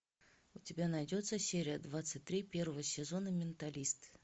у тебя найдется серия двадцать три первого сезона менталист